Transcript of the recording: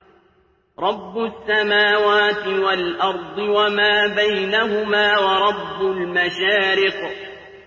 رَّبُّ السَّمَاوَاتِ وَالْأَرْضِ وَمَا بَيْنَهُمَا وَرَبُّ الْمَشَارِقِ